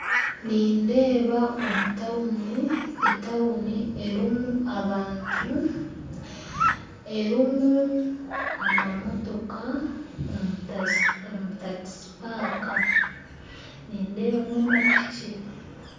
Nindeeba omu tawuni etawuni, elimu abantu erimu amamootoka omutasi omu takipaaka nindeebamu amapiki.